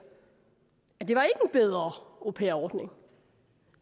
at det ikke var en bedre au pair ordning